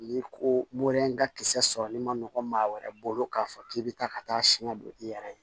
Ni koron in ka kisɛ sɔrɔli ma nɔgɔn maa wɛrɛ bolo k'a fɔ k'i be taa ka taa siɲɛ don i yɛrɛ ye